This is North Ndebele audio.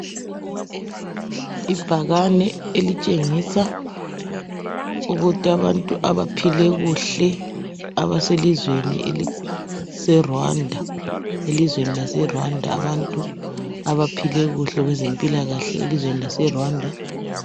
Ibhakane elitshengisa ukuthi abantu abaphile kuhle abaselizweni eliseRwanda, elizweni lase Rwanda abantu abaphile kuhle kwezempilakahle elizweni lase Rwanda.